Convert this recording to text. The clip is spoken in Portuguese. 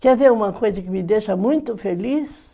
Quer ver uma coisa que me deixa muito feliz?